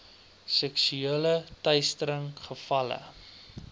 seksuele teistering gevalle